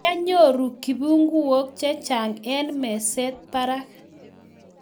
Kwanyoru kibunguok chechang eng' mezet barak